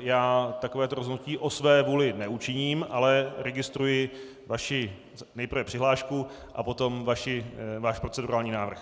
já takovéto rozhodnutí o své vůli neučiním, ale registruji vaši nejprve přihlášku a potom váš procedurální návrh.